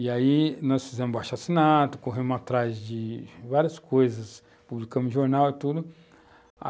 E aí nós fizemos o abaixo-assinato, corremos atrás de várias coisas, publicamos jornal e tudo.